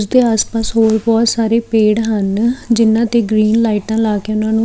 ਉਸਦੇ ਆਸ ਪਾਸ ਹੋਰ ਬਹੁਤ ਸਾਰੇ ਪੇੜ ਹਨ ਜਿਨ੍ਹਾਂ ਤੇ ਗਰੀਨ ਲਾਈਟਾਂ ਲਾ ਕੇ ਉਹਨਾਂ ਨੂੰ--